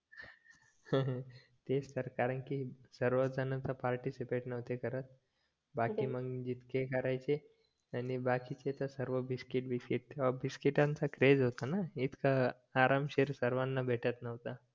तेच तर कारण की सर्व जण तर पार्टीसिपेट नव्हते करत बाकी मग जितके करायचे आणि बाकी चे तर सर्व बिस्कीट तेव्हा बिस्कीटाचा क्रेझ होता ना इतकं आरामशीर सर्वाना भेटत नव्हतं